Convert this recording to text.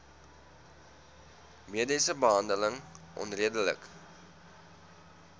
mediese behandeling onredelik